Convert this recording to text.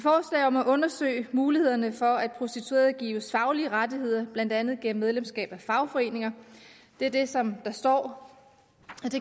om at undersøge mulighederne for at prostituerede gives faglige rettigheder blandt andet gennem medlemskab af fagforeninger det er det som der står